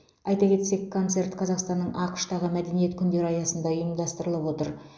айта кетсек концерт қазақстанның ақш тағы мәдениет күндері аясында ұйымдастырылып отыр